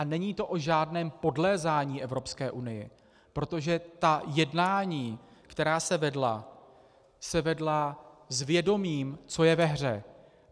A není to o žádném podlézání Evropské unii, protože ta jednání, která se vedla, se vedla s vědomím, co je ve hře.